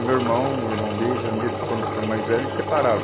O meu irmão, o irmão deles, à medida que foram ficando mais velhos, eles separaram.